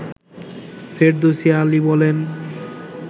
ফেরদৌসী আলী বলেন